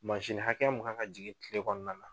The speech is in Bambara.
hakɛya mun kan ka jigin kile kɔnɔna na